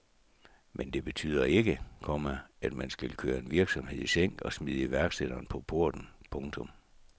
Men det betyder ikke, komma at man skal køre en virksomhed i sænk og smide iværksætteren på porten. punktum